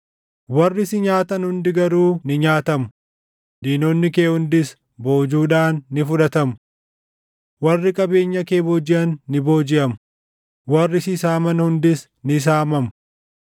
“ ‘Warri si nyaatan hundi garuu ni nyaatamu; diinonni kee hundis boojuudhaan ni fudhatamu. Warri qabeenya kee boojiʼan ni boojiʼamu; warri si saaman hundis ni saamamu.